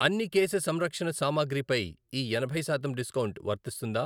అన్ని కేశ సంరక్షణ సామాగ్రి పై ఈ ఎనభై శాతం డిస్కౌంట్ వర్తిస్తుందా?